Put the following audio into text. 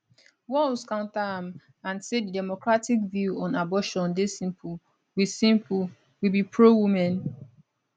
walz counter am and say di democratic view on abortion dey simple we simple we be prowomen